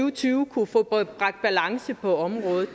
og tyve kunne få bragt balance på området